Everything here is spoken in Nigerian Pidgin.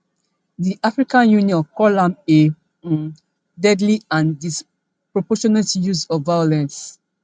di african union call am a um deadly and disproportionate use of violence